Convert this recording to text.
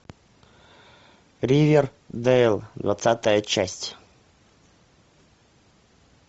ривердэйл двадцатая часть